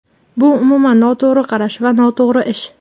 Bu umuman noto‘g‘ri qarash va noto‘g‘ri ish.